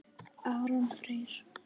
Aron Freyr.